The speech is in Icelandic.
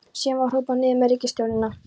Síðan var hrópað: Niður með ríkisstjórnina!